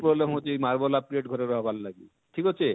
problem ହଉଛେ ଇ Marble ଘରେ ରହେବାର ଲାଗି ଠିକ ଅଛେ,